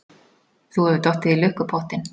Þú hefur dottið í lukkupottinn.